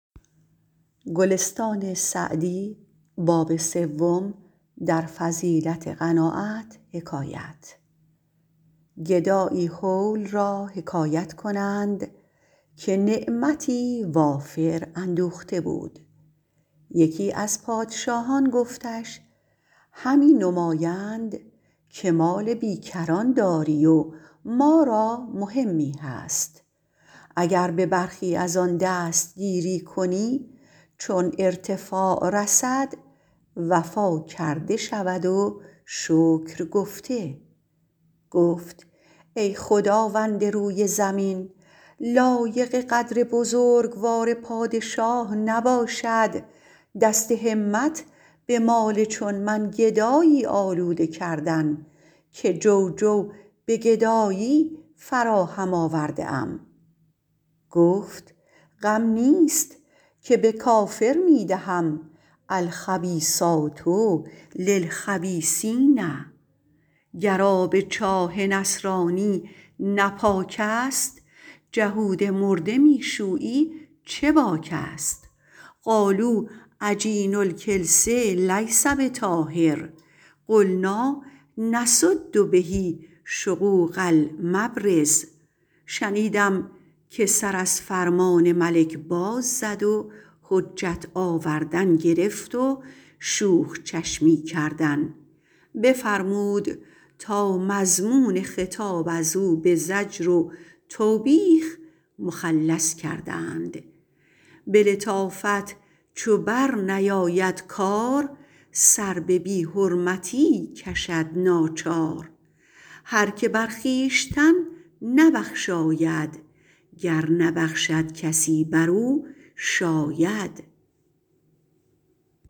گدایی هول را حکایت کنند که نعمتی وافر اندوخته بود یکی از پادشاهان گفتش همی نمایند که مال بی کران داری و ما را مهمی هست اگر به برخی از آن دست گیری کنی چون ارتفاع رسد وفا کرده شود و شکر گفته گفت ای خداوند روی زمین لایق قدر بزرگوار پادشاه نباشد دست همت به مال چون من گدایی آلوده کردن که جو جو به گدایی فراهم آورده ام گفت غم نیست که به کافر می دهم الخبیثات للخبیثین گر آب چاه نصرانی نه پاک است جهود مرده می شویی چه باک است قالوا عجین الکلس لیس بطاهر قلنٰا نسد به شقوق المبرز شنیدم که سر از فرمان ملک باز زد و حجت آوردن گرفت و شوخ چشمی کردن بفرمود تا مضمون خطاب از او به زجر و توبیخ مخلص کردند به لطافت چو بر نیاید کار سر به بی حرمتی کشد ناچار هر که بر خویشتن نبخشاید گر نبخشد کسی بر او شاید